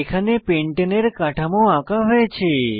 এখানে পেন্টানে এর কাঠামো আঁকা হয়েছে